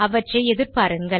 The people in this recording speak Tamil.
அவற்றை எதிர்பாருங்கள்